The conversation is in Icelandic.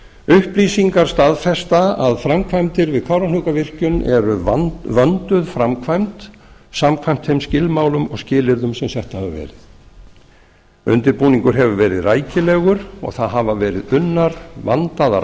upplýsingar staðfesta að framkvæmdir við kárahnjúkavirkjun eru vönduð framkvæmd samkvæmt þeim skilmálum og skilyrðum sem sett hafa verið undirbúningur hefur verið rækilegur og það hafa verið unnar vandaðar